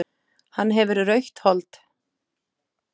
Hann hefur rautt hold.